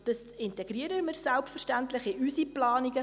– Das integrieren wir selbstverständlich in unsere Planungen.